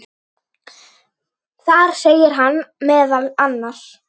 Þar segir hann meðal annars